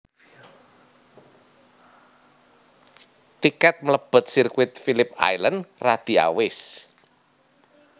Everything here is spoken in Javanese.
Tiket melebet sirkuit Philip Island radi awis